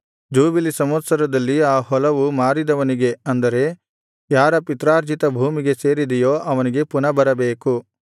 jubilee ಸಂವತ್ಸರದಲ್ಲಿ ಆ ಹೊಲವು ಮಾರಿದವನಿಗೆ ಅಂದರೆ ಯಾರ ಪಿತ್ರಾರ್ಜಿತ ಭೂಮಿಗೆ ಸೇರಿದೆಯೋ ಅವನಿಗೆ ಪುನಃ ಬರಬೇಕು